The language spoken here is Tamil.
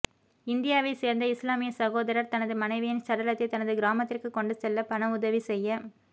இந்தியாவை சேர்ந்த இஸ்லாமிய சகோதரர் தனது மனைவியின் சடலத்தை தனது கிராமத்திற்கு கொண்டு செல்ல பணவுதவி செய்ய